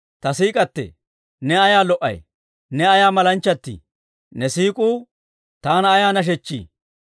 Ta siik'k'atee, ne ayaa lo"ay! Ne ayaa malanchchatii! Ne siik'uu taana ayaa nashechchii!